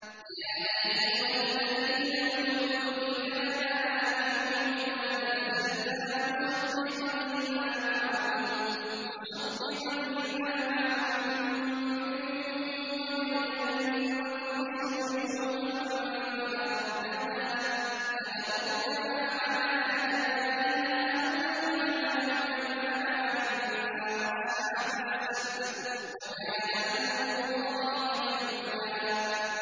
يَا أَيُّهَا الَّذِينَ أُوتُوا الْكِتَابَ آمِنُوا بِمَا نَزَّلْنَا مُصَدِّقًا لِّمَا مَعَكُم مِّن قَبْلِ أَن نَّطْمِسَ وُجُوهًا فَنَرُدَّهَا عَلَىٰ أَدْبَارِهَا أَوْ نَلْعَنَهُمْ كَمَا لَعَنَّا أَصْحَابَ السَّبْتِ ۚ وَكَانَ أَمْرُ اللَّهِ مَفْعُولًا